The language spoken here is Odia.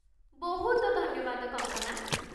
ବହୁତ ଧନ୍ୟବାଦ, କଙ୍କନା!